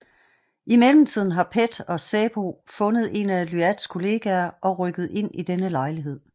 I mellemtiden har PET og SÄPO fundet en af Iyads kollegaer og rykker ind i denne lejlighed